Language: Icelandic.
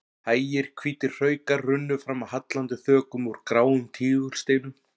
Hægir hvítir hraukar runnu fram af hallandi þökum úr gráum tígulsteinum.